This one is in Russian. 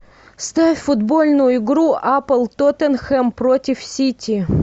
ставь футбольную игру апл тоттенхэм против сити